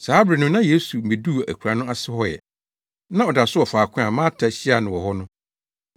Saa bere no na Yesu mmeduu akuraa no ase hɔ ɛ. Na ɔda so wɔ faako a Marta hyiaa no hɔ no.